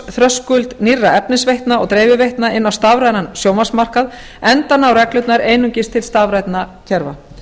aðgangsþröskuld nýrra efnisveitna og dreifiveitna inn á stafrænan sjónvarpsmarkað enda ná reglurnar einungis til stafrænna kerfa